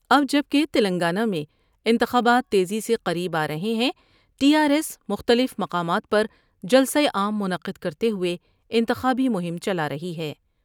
اب جب کہ تلنگانہ میں انتخابات تیزی سے قریب آ رہے ہیں ٹی آرایس مختلف مقامات پر جلسہ عام منعقد کرتے ہوۓ انتخابی مہم چلا رہی ہے ۔